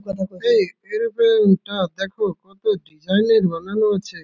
এ aeroplane -টা দেখো কত ডিজাইন -এর বানানো আছে।